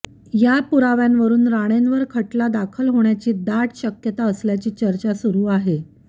या पुराव्यांवरून राणेंवर खटला दाखल होण्याची दाट शक्यता असल्याची चर्चा सुरू आहे